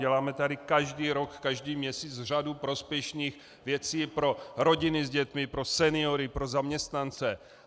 Děláme tady každý rok každý měsíc řadu prospěšných věcí pro rodiny s dětmi, pro seniory, pro zaměstnance.